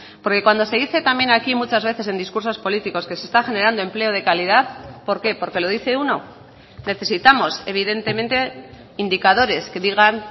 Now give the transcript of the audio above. porque cuando se dice también aquí muchas veces en discursos políticos que se está generando empleo de calidad por qué porque lo dice uno necesitamos evidentemente indicadores que digan